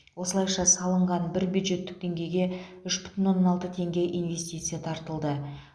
осылайша салынған бір бюджеттік теңгеге үш бүтін оннан алты теңге инвестиция тартылды